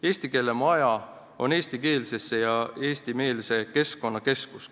Eesti keele maja on eestikeelse ja eestimeelse keskkonna keskus.